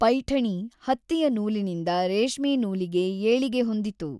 ಪೈಠಣಿ ಹತ್ತಿಯ ನೂಲಿನಿಂದ ರೇಷ್ಮೆ ನೂಲಿಗೆ ಏಳಿಗೆ ಹೊಂದಿತು.